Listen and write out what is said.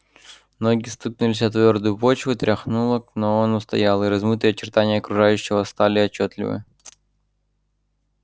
ноги стукнулись о твёрдую почву тряхануло но он устоял и размытые очертания окружающего стали отчётливы